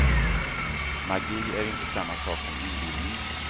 Magi är inte samma sak som inbillning.